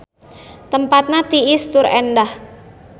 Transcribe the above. Tempatna tiis tur endah.